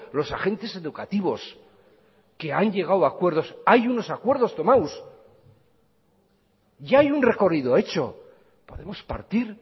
los agentes educativos que han llegado a acuerdos hay unos acuerdos tomados ya hay un recorrido hecho podemos partir